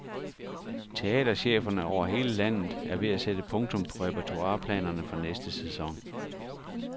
Teatercheferne over hele landet er ved at sætte punktum på repertoireplanerne for næste sæson.